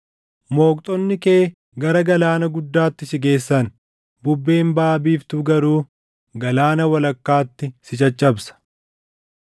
Mooqxonni kee, gara galaana guddaatti si geessan. Bubbeen baʼa biiftuu garuu galaana walakkaatti si caccabsa.